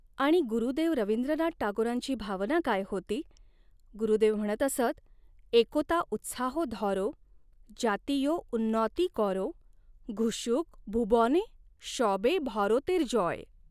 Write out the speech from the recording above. आणि गुरुदेव रविंद्र नाथ टागोरांची भावना काय होती, गुरुदेव म्हणत असत एकोता उत्साहो धॉरो, जातियो उन्नॉति कॉरो, घुशुक भुबॉने शॉबे भारोतेर जॉय!